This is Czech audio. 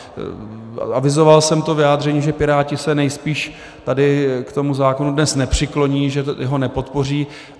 Avizoval jsem to vyjádření, že Piráti se nejspíš tady k tomu zákonu dnes nepřikloní, že ho nepodpoří.